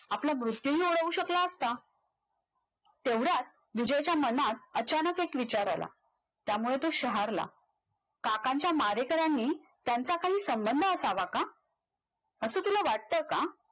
आपला मृत्यूहीओढवू शकला असता एवढ्यात विजयच्या मनात अचानक एक विचार आला त्यामुळे तो शाहराला काकांच्या मारेकऱ्यानी त्यांचा काही संबंध असावा का, असं तुला वाटतं का